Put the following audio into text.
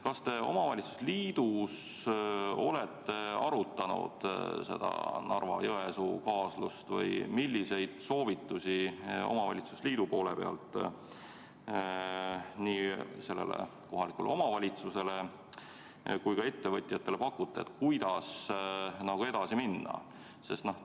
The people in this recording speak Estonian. Kas te omavalitsuste liidus olete arutanud seda Narva-Jõesuu kaasust ja milliseid soovitusi omavalitsuste liit nii sellele kohalikule omavalitsusele kui ka ettevõtjatele pakkus, kuidas edasi minna?